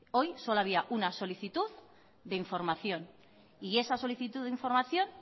hoy solo había una solicitud de información y esa solicitud de información